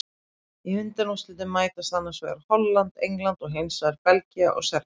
Í undanúrslitum mætast annars vegar Holland og England og hinsvegar Belgía og Serbía.